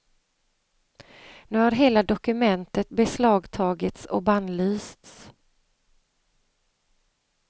Nu har hela dokumentet beslagtagits och bannlysts.